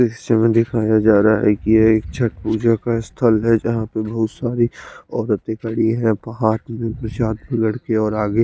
दृश्य में दिखाया जा रहा है एक ये छठ पूजा का स्थल है जहाँ पे बहुत सारी औरतें खड़ी हैं वहां की लडकियां और आगे--